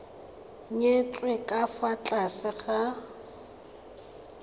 nyetswe ka fa tlase ga